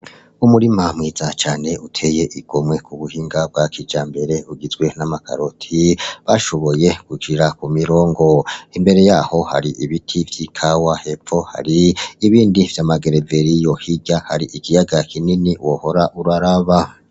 Umurima mwiza cane uteye igomwe kubuhinga bwa kijambere, ugizwe n'amakaroti bashoboye gushira kumirongo, imbere yaho hari ibiti vy'ikawa hepfo hari ibindi vy'amagereveriyo, hirya hari ikiyaga wohora uraraba.